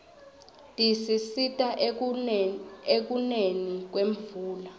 tisisita ekuneni kwemvula